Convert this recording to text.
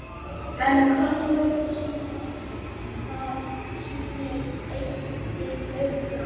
En könnunin sýnir einnig fleira.